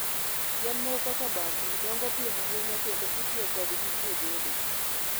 Yien moko kaka bamboo, dongo piyo ahinya kendo itiyo kodgi e gedo.